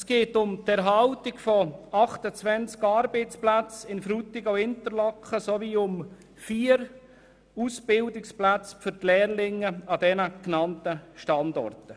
Es geht um die Erhaltung von 28 Arbeitsplätzen in Frutigen und Interlaken, sowie um vier Ausbildungsplätze für Lehrlinge an den genannten Standorten.